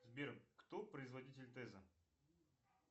сбер кто производитель теза